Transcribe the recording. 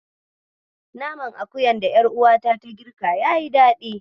Naman akuyar da ƴaruwata ta girka yayi daɗi.